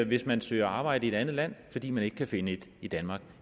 hvis man søger arbejde i et andet land fordi man ikke kan finde et i danmark